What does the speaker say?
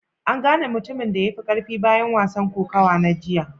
An gane mutumin da ya fi karfi bayan wasan kokawa na jiya?